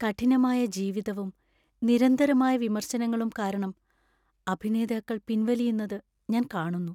കഠിനമായ ജീവിതവും നിരന്തരമായ വിമർശനങ്ങളും കാരണം അഭിനേതാക്കൾ പിൻവലിയുന്നത് ഞാൻ കാണുന്നു.